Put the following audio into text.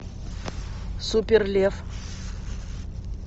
супер лев